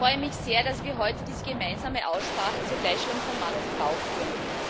Ich freue mich sehr, dass wir heute diese gemeinsame Aussprache zur Gleichstellung von Mann und Frau führen.